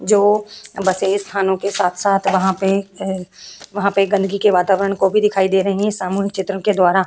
जो बसे स्थानों के साथ-साथ वहाँ पे हैं वहाँ पे गदंगी के वातावरन को भी दिखाई दे रही हैं सामूहिक चित्रों के द्वारा --